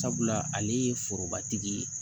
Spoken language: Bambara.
Sabula ale ye forobatigi ye